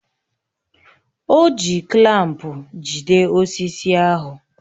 O ji klampu jide osisi ahụ